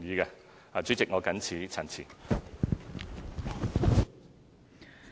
代理主席，我謹此陳辭。